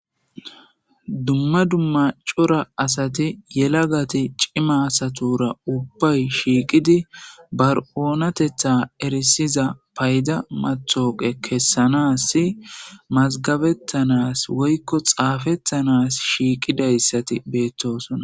Dumma dumma c'ora asati yelagati c'ima asatura ubbay shiiqidi bar'oonatetha erisiza payda mathooqe kessanassi mazgabettanas woykko xaafettanas shiiqidayssati beettosona.